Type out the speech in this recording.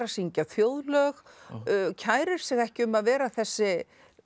syngja þjóðlög kærir sig ekki um að vera þessi